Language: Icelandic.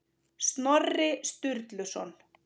Snorri Sturluson.